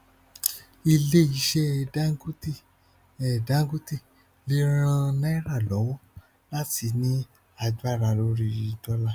ilé iṣẹ dangote dangote lè ràn náírà lọwọ láti ní agbára lórí dọlà